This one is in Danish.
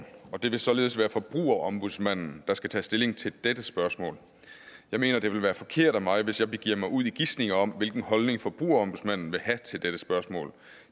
og det vil således være forbrugerombudsmanden der skal tage stilling til dette spørgsmål jeg mener det vil være forkert af mig hvis jeg begiver mig ud i gisninger om hvilken holdning forbrugerombudsmanden vil have til dette spørgsmål